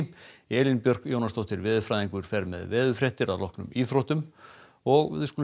Elín Björk Jónasdóttir veðurfræðingur fer með veðurfréttir að loknum íþróttum og þá skulum